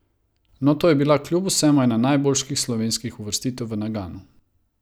No, to je bila kljub vsemu ena od najboljših slovenskih uvrstitev v Naganu.